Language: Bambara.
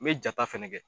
N bɛ jata fɛnɛ kɛ